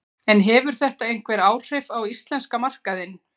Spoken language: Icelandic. En hefur þetta einhver áhrif á íslenska markaðinn?